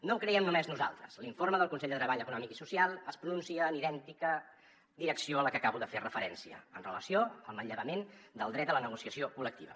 no ho creiem només nosaltres l’informe del consell de treball econòmic i social es pronuncia en idèntica direcció a la que acabo de fer referència amb relació al manllevament del dret a la negociació col·lectiva